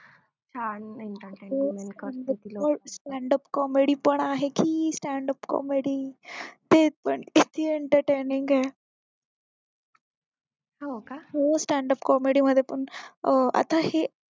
stand up comedy पण आहे की stand up comedy ते पण किती entertaining ये stand up comedy मध्ये पण अं आता हे